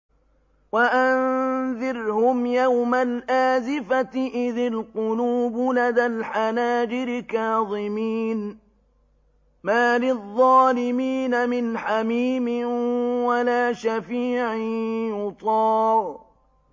وَأَنذِرْهُمْ يَوْمَ الْآزِفَةِ إِذِ الْقُلُوبُ لَدَى الْحَنَاجِرِ كَاظِمِينَ ۚ مَا لِلظَّالِمِينَ مِنْ حَمِيمٍ وَلَا شَفِيعٍ يُطَاعُ